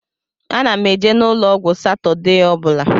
Ana m eje n'ụlọ ọgwụ Satọdee ọ bụla.